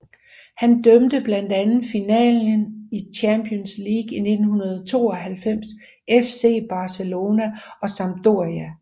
Han dømte blandt andet finalen i Champions League i 1992 FC Barcelona og Sampdoria